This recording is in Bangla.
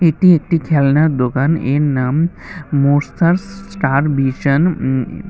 এটি একটি খেলনার দোকান এর নাম মোসার্স ষ্টার ভিশান উম।